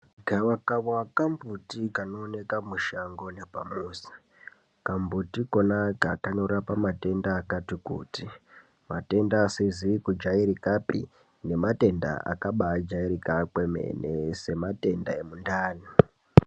Gavakava kambuti kanooneka mushango nepamuzi. Kambuti Kona aka kanorapa matenda akati kuti matenda asizi kujairikapi nematenda akabajairika kwemene sematenda emundani.